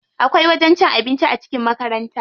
Akwai wajen cin abinci a cikin makaranta.